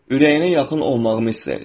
Ürəyinə yaxın olmağımı istəyirsən.